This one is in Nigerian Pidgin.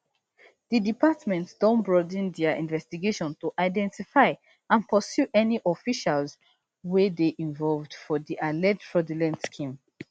di department don broaden dia investigation to identify and pursue any officials wey dey involved for di alleged fraudulent scheme